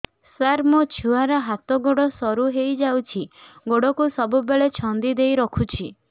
ସାର ଛୁଆର ହାତ ଗୋଡ ସରୁ ହେଇ ଯାଉଛି ଗୋଡ କୁ ସବୁବେଳେ ଛନ୍ଦିଦେଇ ରଖୁଛି